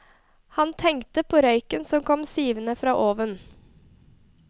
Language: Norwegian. Han tenkte på røyken som kom sivende fra oven.